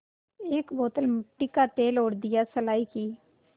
एक बोतल मिट्टी का तेल और दियासलाई की